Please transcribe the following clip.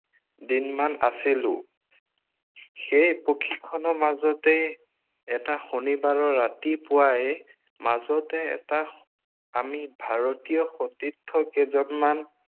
দিনমান আছিলো। সেই প্ৰশিক্ষণৰ মাজতেই এটা শনিবাৰৰ ৰাতি পুৱাই মাজতে এটা আমি ভাৰতীয় সতীৰ্থ কেইজনমান